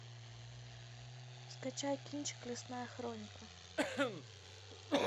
скачай кинчик лесная хроника